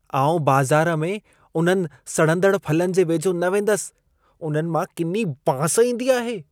आउं बाज़ार में उन्हनि सड़ंदड़ फलनि जे वेझो न वेंदसि। उन्हनि मां किनी बांस ईंदी आहे।